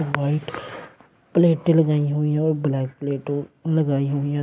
White प्लेटें लगाई हुई हैं और ब्लैक प्लेटो लगाई हुई हैं।